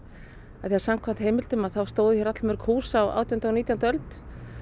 af því að samkvæmt heimildum þá stóðu hér allmörg hús á átjándu og nítjándu öld